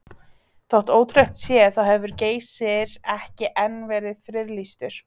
Þótt ótrúlegt sé þá hefur Geysir ekki enn verið friðlýstur.